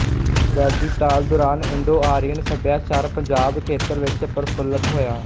ਵੈਦਿਕ ਕਾਲ ਦੌਰਾਨ ਇੰਡੋਆਰੀਅਨ ਸਭਿਆਚਾਰ ਪੰਜਾਬ ਖੇਤਰ ਵਿੱਚ ਪ੍ਰਫੁੱਲਤ ਹੋਇਆ